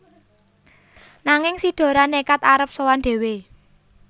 Nanging si Dora nékad arep sowan dhéwé